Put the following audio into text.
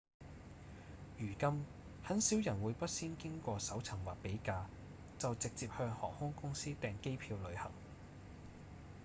如今很少人會不先經過搜尋或比價就直接向航空公司訂機票旅行